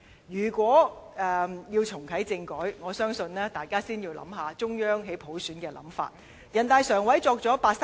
如要重啟政改，我相信大家要先考慮中央對普選的想法。